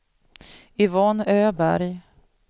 Yvonne Öberg